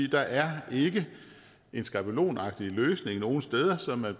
der er ikke en skabelonagtig løsning nogen steder som man